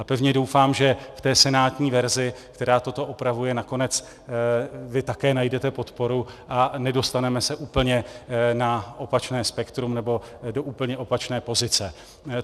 A pevně doufám, že k té senátní verzi, která toto opravuje, nakonec vy také najdete podporu a nedostaneme se úplně na opačné spektrum nebo do úplně opačné pozice.